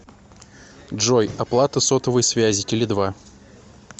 джой оплата сотовой связи теле два